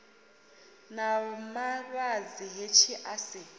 na mavhadzi hetshi a si